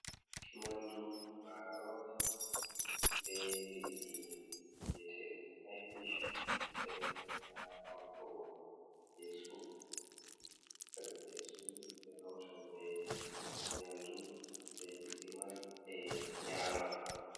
Nyamdu marori be liɗɗi viyete ɗum ifish, nda hako ferfesu, ferfesu ɓe hautan be nyamdu, be lidi man ɓe nyama.